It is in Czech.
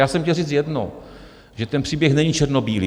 Já jsem chtěl říct jedno - že ten příběh není černobílý.